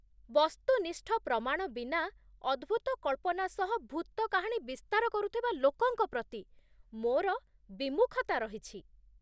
ବସ୍ତୁନିଷ୍ଠ ପ୍ରମାଣ ବିନା ଅଦ୍ଭୂତ କଳ୍ପନା ସହ ଭୂତ କାହାଣୀ ବିସ୍ତାର କରୁଥିବା ଲୋକଙ୍କ ପ୍ରତି ମୋର ବିମୁଖତା ରହିଛି